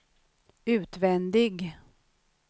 utvändig